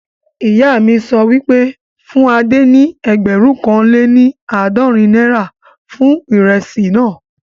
Ìyá mi sọ wípé, fún Adé ní ẹgbẹ̀rún kan lé ní àádọ́rin náírà fún ìrẹsì naa